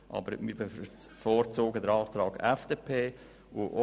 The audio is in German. Aber wir bevorzugen den Antrag der FDP.